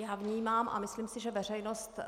Já vnímám, a myslím si, že veřejnost